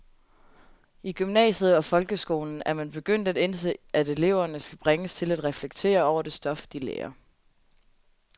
I gymnasiet og folkeskolen er man begyndt at indse, at eleverne skal bringes til at reflektere over det stof, de lærer.